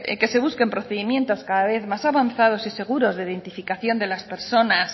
que se busquen procedimientos cada vez más avanzados y seguros de identificación de las personas